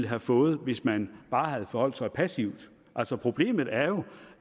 havde fået hvis man bare havde forholdt sig passivt altså problemet er jo